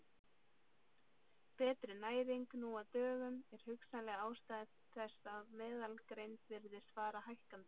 Betri næring nú á dögum er hugsanleg ástæða þess að meðalgreind virðist fara hækkandi.